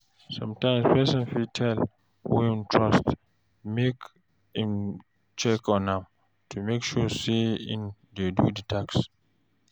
Sometimes person fit tell who im trust make im check on am to make sure sey im dey do di task